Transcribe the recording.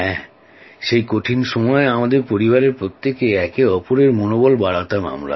হ্যাঁ সেই কঠিন সময়ে আমাদের পরিবারের প্রত্যেকে একে অপরের মনোবল বাড়াতাম